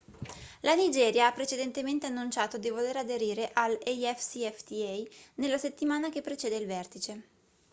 la nigeria ha precedentemente annunciato di voler aderire all'afcfta nella settimana che precede il vertice